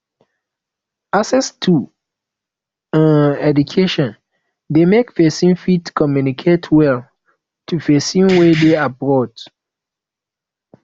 access to um education de make persin fit communicate well to persin wey de abroad